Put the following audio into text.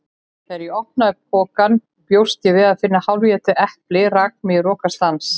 Þegar ég opnaði pokann og bjóst við að finna hálfétið eplið rak mig í rogastans.